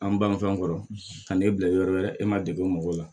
An banfɛnw kɔrɔ ka n'e bila yɔrɔ wɛrɛ e ma degun mɔgɔw la